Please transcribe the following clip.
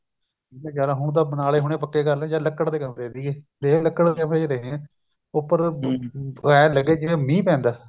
ਨਹੀਂ ਜਿਆਦਾ ਹੋਣ ਤਾਂ ਬਣਾ ਲੇ ਹੋਣੇ ਪੱਕੇ ਕਰ ਲਏ ਜਾਂ ਲੱਕੜ ਦੇ ਕਮਰੇ ਸੀਗੇ ਦੇਖਲੋ ਲੱਕੜ ਦੇ ਕਮਰੇ ਵਿੱਚ ਰਹੇ ਆਂ ਉੱਪਰ ਲੱਗੇ ਜਿਵੇਂ ਮੀਹ ਪੈਂਦਾ